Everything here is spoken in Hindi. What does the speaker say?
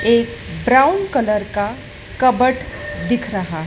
ये ब्राउन कलर का कबर्ड दिख रहा है।